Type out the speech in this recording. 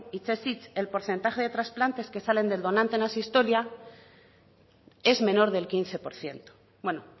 hitzez hitz el porcentaje de trasplantes que salen del donante en asistolia es menor del quince por ciento bueno